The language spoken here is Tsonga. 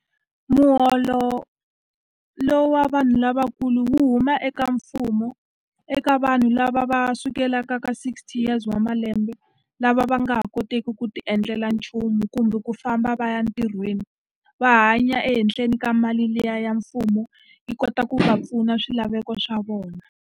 Muholo lowu wa vanhu lavakulu huma eka mfumo, eka vanhu lava va sukelaka ka sixty years wa malembe. Lava va a nga ha koteki ku ti endlela nchumu kumbe ku famba va ya ntirhweni, va hanya ehenhla ni ka mali liya ya mfumo. Yi kota ku va pfuna swilaveko swa vona.